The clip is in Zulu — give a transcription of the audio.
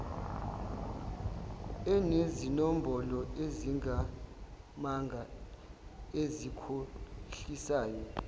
enezinombolo ezingamanga ezikhohlisayo